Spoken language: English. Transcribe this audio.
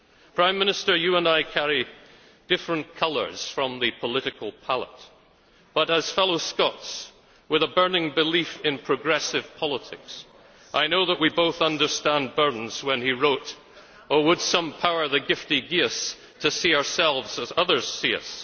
it. Prime Minister, you and I carry different colours from the political pallet, but as fellows Scots with a burning belief in progressive politics, I know that we both understand Burns when he wrote Oh would some Power the gift to give us, to see ourselves as others see us'.